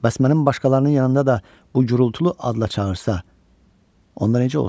Bəs mən başqalarının yanında da bu gurultulu adla çağırsa, onlar necə olsun?